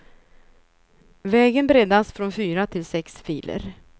Vägen breddas från fyra till sex filer.